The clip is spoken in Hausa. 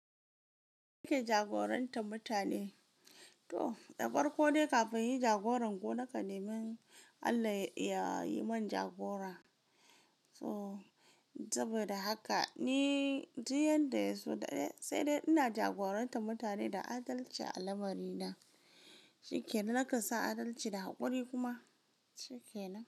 Yake jagorantar mutane. To, ɗaukar ko dai kafin in yi jagoran ko nakan nemi Allah ya yi man jagora. So, saboda haka ni, duk yanda ya zo daɗe, sai dai ina jagorantar mutane da adalci a lamari na. Shikenan, naka sa adalci da haƙuri kuma. Shikenan.